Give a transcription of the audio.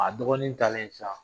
A dɔgɔnin talen sisan